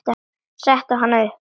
Setti hana upp.